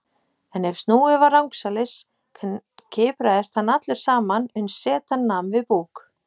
En ef snúið var rangsælis kipraðist hann allur saman uns setan nam við búk.